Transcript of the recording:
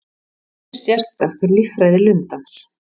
Margt er sérstakt við líffræði lundans.